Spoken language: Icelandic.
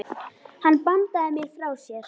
Hann bandaði mér frá sér.